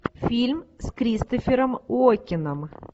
фильм с кристофером уокеном